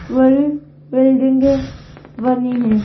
बड़ी बिल्डिंगे बनी है।